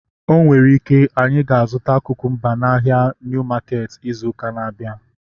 O nwere ike, anyị ga-azụta kukumba n'ahia Niu maketi izu ụka na-abịa